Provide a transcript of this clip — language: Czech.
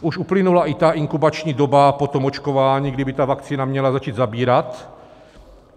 Už uplynula i inkubační doba po tom očkování, kdy by ta vakcína měla začít zabírat.